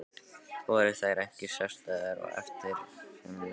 Voru þær ekki sérstæðar og eftirminnilegar?